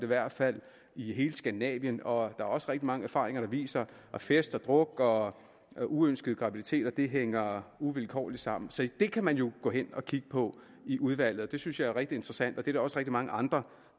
hvert fald i skandinavien og er også rigtig mange erfaringer der viser at fest og druk og og uønskede graviditeter hænger uvilkårligt sammen så det kan man jo kigge på i udvalget det synes jeg er rigtig interessant og det er der også mange andre